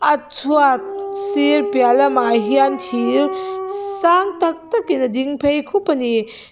a chhuat sir piah lamah hian thir sang tak tak in a ding phei khup ani.